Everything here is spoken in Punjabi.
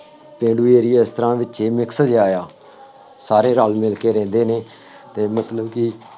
ਪੇਂਡੂ area ਇਸ ਤਰ੍ਹਾਂ ਵਿੱਚੇ mix ਜਿਹਾ ਵਾ, ਸਾਰੇ ਰਲ ਮਿਲ ਕੇ ਰਹਿੰਦੇ ਨੇ, ਅਤੇ ਮਤਲਬ ਕਿ